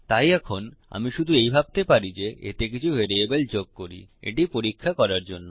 তাই এখন আমি শুধু এই ভাবতে পারি যে এতে কিছু ভ্যারিয়েবল যোগ করি এটি পরীক্ষা করার জন্য